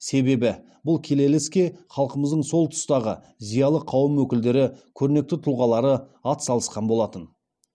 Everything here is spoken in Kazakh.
себебі бұл келелі іске халқымыздың сол тұстағы зиялы қауым өкілдері көрнекті тұлғалары ат салысқан болатын